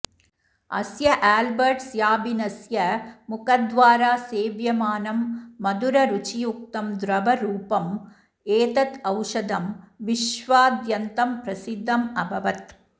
अस्य आल्बर्ट् स्याबिनस्य मुखद्वारा सेव्यमानं मधुररुचियुक्तं द्रवरूपम् एतत् औषधं विश्वाद्यन्तं प्रसिद्धम् अभवत्